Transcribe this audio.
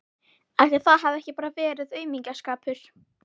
Ætli það hafi bara ekki verið aumingjaskapur.